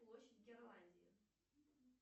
площадь гренландии